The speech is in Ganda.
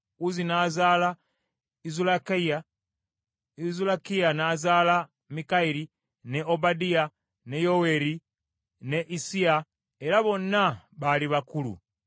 Uzzi n’azaala Izulakiya. Izulakiya n’azaala Mikayiri, ne Obadiya, ne Yoweeri ne Issiya, era bonna baali bakulu.